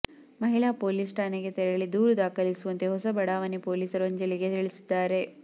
ಮಹಿಳಾ ಪೋಲಿಸ್ ಠಾಣೆಗೆ ತೆರಳಿ ದೂರು ದಾಖಲಿಸುವಂತೆ ಹೊಸ ಬಡಾವಣೆ ಪೋಲಿಸರು ಅಂಜಲಿಗೆ ತಿಳಿಸಿದ್ದಾರೆ